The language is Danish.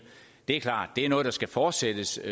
det er klart det er noget der skal fortsættes